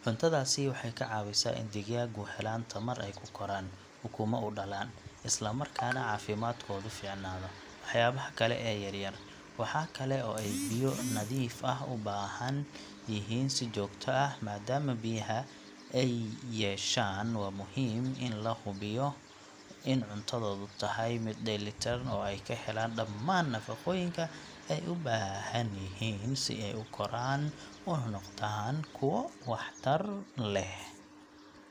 Cuntadaasi waxay ka caawisaa in digaagu helaan tamar ay ku koraan, ukumo u dhalaan, isla markaana caafimaadkoodu fiicnaado. Digaaga qaar waxay caan ku yihiin in ay cuntooyinka dhulka yaalla ay ka baaraan sida iniinaha iyo waxyaabaha kale ee yar yar. Waxa kale oo ay biyo nadiif ah u baahan yihiin si joogto ah maadaama biyaha ay muhiim u yihiin dheefshiidkooda iyo guud ahaan noloshooda. Markaad rabto in digaagu caafimaad yeeshaan waa muhiim in la hubiyo in cuntadoodu tahay mid dheelitiran oo ay ka helaan dhammaan nafaqooyinka ay u baahan yihiin si ay u koraan una noqdaan kuwo wax tar leh.